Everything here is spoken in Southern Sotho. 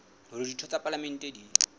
hore ditho tsa palamente di